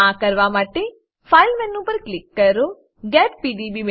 આ કરવા માટે ફાઇલ મેનુ પર ક્લોઈક કરો ગેટ પીડીબી